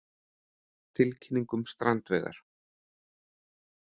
Tilkynning um strandveiðar